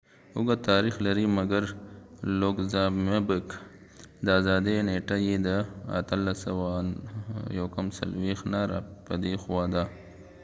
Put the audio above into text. لوکزامبګluxembourg اوږد تاریخ لري مګر د آزادي نیټه یې د 1839 نه راپديخوا ده